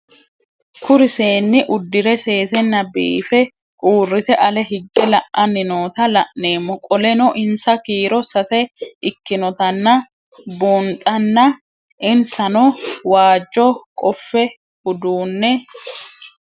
Kuri seenu udire sesena biife urite ale hige la'ani noota la'nemo qoleno insa kiiro sase ikinotana bunxana insano waajo qofe udune